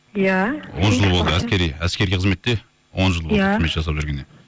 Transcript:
иә он жыл болды әскери қызметте он жыл болды қызмет жасап жүргеніне